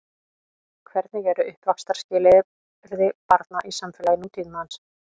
Hvernig eru uppvaxtarskilyrði barna í samfélagi nútímans?